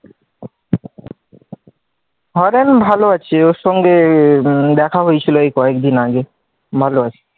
হারাধন ভালো আছে, অর সঙ্গে দেখা হয়েছিল এই কয়েকদিন আগে ভালো আছে,